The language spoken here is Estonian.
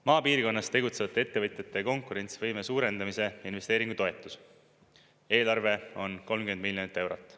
Maapiirkonnas tegutsevate ettevõtjate konkurentsivõime suurendamise investeeringutoetuse eelarve on 30 miljonit eurot.